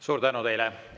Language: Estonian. Suur tänu teile!